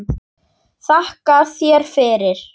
Þakka þér fyrir.